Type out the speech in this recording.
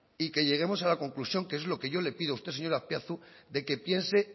y que lleguemos a la conclusión que es lo que yo le pido a usted señor azpiazu de que piense